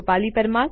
જોડાવા બદલ આભાર